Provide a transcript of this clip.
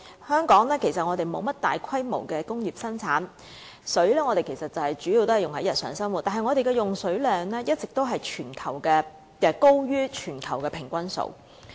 香港沒有大規模的工業生產，水主要用於日常生活，但我們的用水量卻一直高於全球平均數。